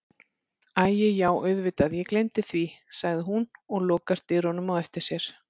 Æi já auðvitað ég gleymdi því, segir hún og lokar dyrunum á eftir sér.